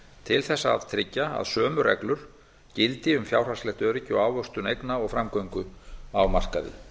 til þess að tryggja að sömu reglur gildi um fjárhagslegt öryggi og ávöxtun eigna og framgöngu á markaði